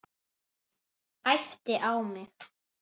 Æpti á mig.